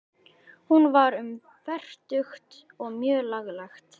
Hún var um fertugt og mjög lagleg.